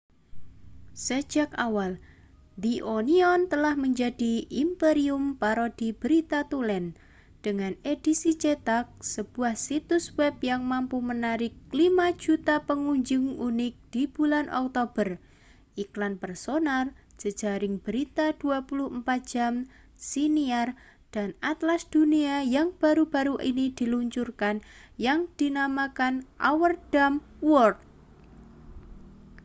sejak awal the onion telah menjadi imperium parodi berita tulen dengan edisi cetak sebuah situs web yang mampu menarik 5.000.000 pengunjung unik di bulan oktober iklan personal jejaring berita 24 jam siniar dan atlas dunia yang baru-baru ini diluncurkan yang dinamakan our dumb world